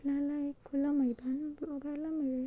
आपल्याला एक खुलं मैदान बघायला मिळेल.